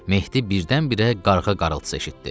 Mehdi birdən-birə qarğa qarıltısı eşitdi.